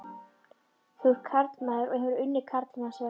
Þú ert karlmaður og hefur unnið karlmannsverk.